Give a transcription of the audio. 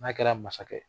N'a kɛra masakɛ ye